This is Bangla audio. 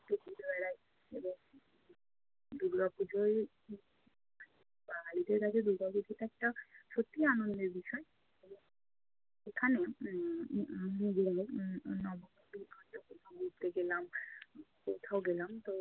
দুর্গাপূজোয় বাঙালিদের কাছে দুর্গাপুজোটা একটা সত্যিই আনন্দের বিষয়। সেখানে উম উম সন্ধেবেলা উম উম নবমীর দিন ঘুরতে গেলাম কোথাও গেলাম তো